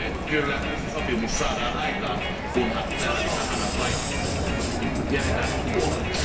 Kyllä uusi sopimus saadaan aikaan, kunhan Länsi Sahara vain jätetään ulkopuolelle.